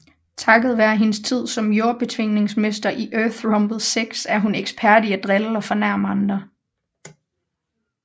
Takket være hendes tid som Jordbetvingningsmester i Earthrumble 6 er hun ekspert i at drille og fornærme andre